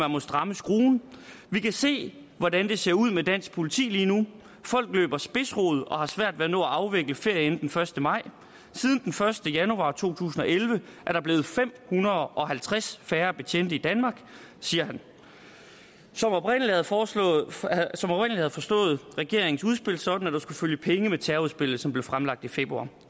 man strammer skruen vi kan se hvordan det ser ud med dansk politi lige nu folk løber spidsrod og har svært ved at nå at afvikle ferie inden første maj siden første januar to tusind og elleve er der blevet fem hundrede og halvtreds færre betjente i danmark siger han som oprindeligt havde forstået havde forstået regeringen sådan at der skulle følge penge med terrorudspillet som blev fremlagt i februar